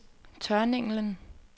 Tørninglen